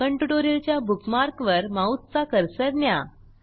spoken tutorial च्या बुकमार्कवर माऊसचा कर्सर न्या